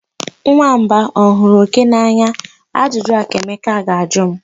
Nwamba ọ hụrụ oke n'anya? Ajụjụ a ka Emeka ga-ajụ m.